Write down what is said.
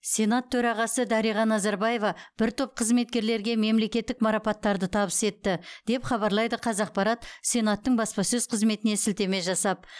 сенат төрағасы дариға назарбаева бір топ қызметкерлерге мемлекеттік марапаттарды табыс етті деп хабарлайды қазақпарат сенаттың баспасөз қызметіне сілтеме жасап